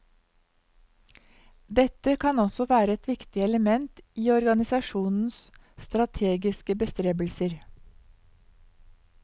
Dette kan også være et viktig element i organisasjonens strategiske bestrebelser.